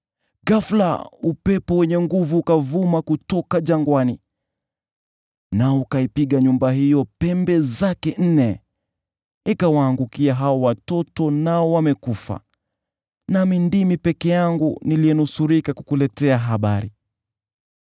ghafula upepo wenye nguvu ukavuma kutoka jangwani, nao ukaipiga nyumba hiyo pembe zake nne. Ikawaangukia hao watoto nao wamekufa, nami ndimi peke yangu niliyenusurika kukuletea habari!”